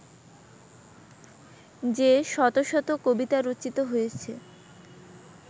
যে-শত শত কবিতা রচিত হয়েছে